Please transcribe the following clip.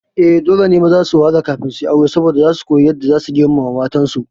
Eh, dole maza su wahala kafin suyi aure saboda zasu kuyi yadda zasu girmama matan su